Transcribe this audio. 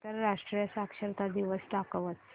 आंतरराष्ट्रीय साक्षरता दिवस दाखवच